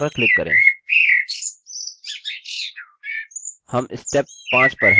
हम step 5 पर हैंarrange controls